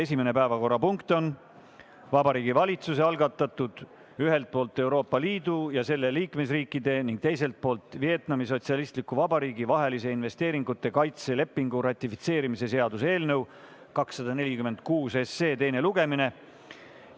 Esimene päevakorrapunkt on Vabariigi Valitsuse algatatud ühelt poolt Euroopa Liidu ja selle liikmesriikide ning teiselt poolt Vietnami Sotsialistliku Vabariigi vahelise investeeringute kaitse lepingu ratifitseerimise seaduse eelnõu 246 teine lugemine.